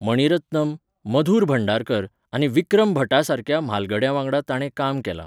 मणी रत्नम, मधुर भंडारकर आनी विक्रम भट्टा सारक्या म्हालगड्यां वांगडा ताणें काम केलां.